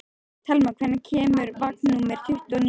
Telma, hvenær kemur vagn númer tuttugu og níu?